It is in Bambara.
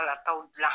Ala taw dilan